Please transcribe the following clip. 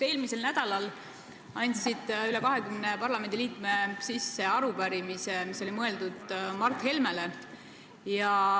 Eelmisel nädalal andsid üle 20 parlamendiliikme sisse arupärimise, mis oli mõeldud Mart Helmele.